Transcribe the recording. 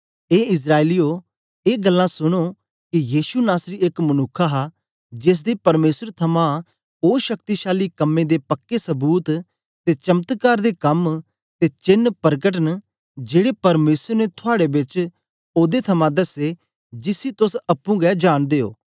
ए इस्राएलियें ए गल्लां सुनो के यीशु नासरी एक मनुक्ख हा जेसदे परमेसर थमां ओ शक्तिशाली कम्में दे पक्के सबूत ते चमत्कार दे कम ते चेन्न परकट न जेड़े परमेसर ने थुआड़े बेच ओदे थमां दसैं जिसी तोस अप्पुं गै जांनदे ओ